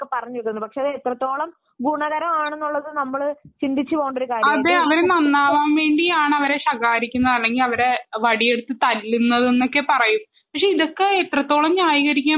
അവരുടെ സുരക്ഷിതത്വം അല്ലെങ്കിൽ അവർക്കു വേണ്ടിയാണു നമ്മൾ ഇങ്ങനെയൊക്കെ ചെയ്യുന്നത് എന്ന് പറയുന്നത് . പക്ഷെ എത്രത്തോളം ഗുണകരമാണെന്ന് നമ്മൾ ചിന്തിച്ചു നോക്കേണ്ട ഒരു കാര്യമാണ്